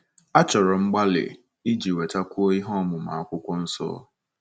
Achọrọ mgbalị iji nwetakwuo ihe ọmụma akwụkwọ nsọ.